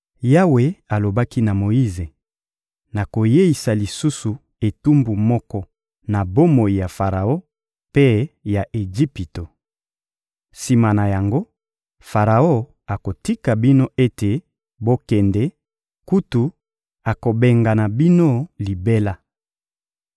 Yawe alobaki na Moyize: «Nakoyeisa lisusu etumbu moko na bomoi ya Faraon mpe ya Ejipito. Sima na yango, Faraon akotika bino ete bokende; kutu, akobengana bino libela.